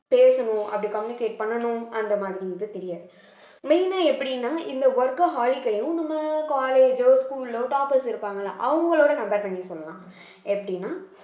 பேசணும் அப்படி communicate பண்ணணும் அந்த மாதிரிங்கிறது தெரியாது main ஆ எப்படின்னா இந்த workaholic யும் நம்ம college ஓ school ஓ toppers இருப்பாங்கல்ல அவங்களோட compare பண்ணி சொல்லலாம் எப்படின்னா